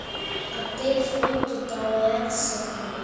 отель фолти тауэрс открой